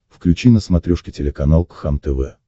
включи на смотрешке телеканал кхлм тв